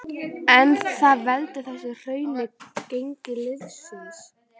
En hvað veldur þessu hruni á gengi liðsins?